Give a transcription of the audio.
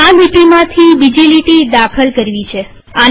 મને આ લીટીમાંથી બીજી લીટી દાખલ કરવી છે